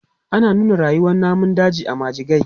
Ana nuna rayuwan namun daji a majigai.